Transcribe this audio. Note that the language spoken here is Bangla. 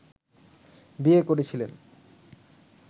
বিয়ে করেছিলেন